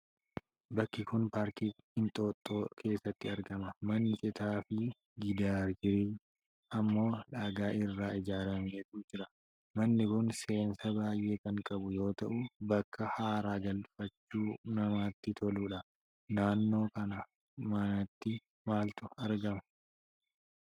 Bakki kun paarkii Inxooxxoo keessatti argama. Manni citaafi gidaarri isaa ammoo dhagaa irraa ijaarametu jira. Manni kun seensa baay'ee kan qabu yoo ta'u, bakka haara galfachuuf namatti toluudha. Naannoo mana kanaatti maaltu argama?